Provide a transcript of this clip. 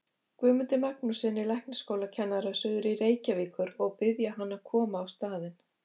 Guðmundi Magnússyni læknaskólakennara suður til Reykjavíkur og biðja hann að koma á staðinn.